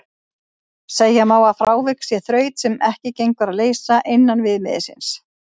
Segja má að frávik sé þraut sem ekki gengur að leysa innan viðmiðsins.